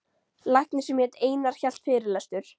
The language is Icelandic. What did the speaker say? Læknir sem hét Einar hélt fyrirlestur.